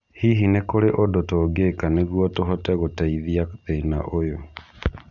Hihi nĩ kũrĩ ũndũ tũngĩka nĩguo tũhote gũteithia thĩna ũyũ